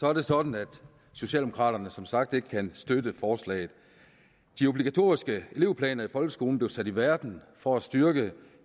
er det sådan at socialdemokraterne som sagt ikke kan støtte forslaget de obligatoriske elevplaner i folkeskolen blev sat i verden for at styrke